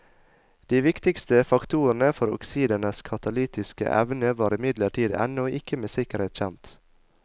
De viktigste faktorene for oksidenes katalytiske evne var imidlertid ennå ikke med sikkerhet kjent.